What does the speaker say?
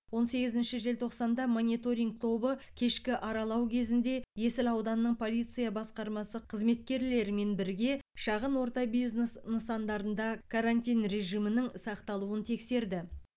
он сегізінші желтоқсанда мониторинг тобы кешкі аралау кезінде есіл ауданының полиция басқармасы қызметкерлерімен бірге шағын орта бизнес нысандарында карантин режимінің сақталуын тексерді